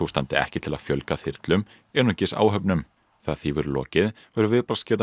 standi ekki til að fjölga þyrlum einungis áhöfnum þegar því verður lokið verður